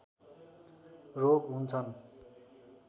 रोग हुन्छन्